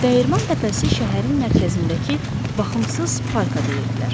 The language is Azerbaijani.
Dəyirman Təpəsi şəhərin mərkəzindəki baxımsız parka deyirdilər.